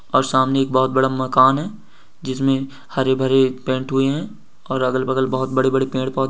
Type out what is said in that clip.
और सामने एक बहोत बड़ा मकान है जिसमें हरे-भरे पेंट हुए हैं और अगल-बगल बहोत बड़े-बड़े पेड़ पौधे --